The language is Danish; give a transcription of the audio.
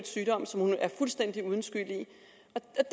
sygdom som hun er fuldstændig uden skyld i at